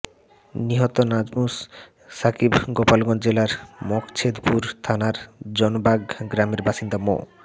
নিহত নাজমুস সাকিব গোপালগঞ্জ জেলার মকছেদপুর থানার জানবাগ গ্রামের বাসিন্দা মো